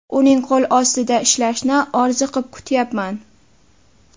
Uning qo‘l ostida ishlashni orziqib kutyapman”.